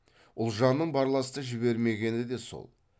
ұлжанның барласты жібермегені де сол